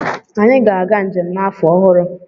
Anyị ga-aga njem n'afọ ọhụrụ.